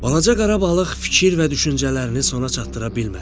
Balaca qara balıq fikir və düşüncələrini sona çatdıra bilmədi.